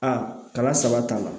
A kalan saba t'a la